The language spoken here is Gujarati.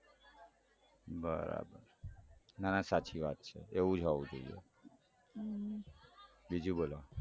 બરાબર ના ના સાચી વાત છે એવું જ હોઉં જોઈએ હમ બીજું બોલો.